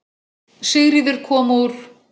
Sigríður kom úr